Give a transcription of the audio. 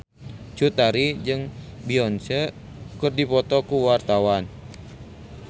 Cut Tari jeung Beyonce keur dipoto ku wartawan